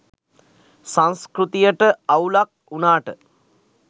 සංස්කෘතියට අවුලක් වුණාට